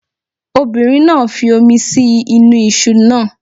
Obìnrin náà fi omi sí inú iṣu náà.